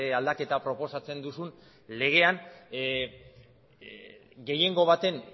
aldaketa proposatzen duzun legean gehiengo baten